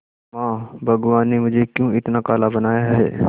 मां भगवान ने मुझे क्यों इतना काला बनाया है